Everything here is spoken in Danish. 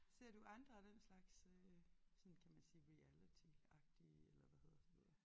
Ser du andre af den slags øh sådan kan man sige reality agtige eller hvad hedder sådan noget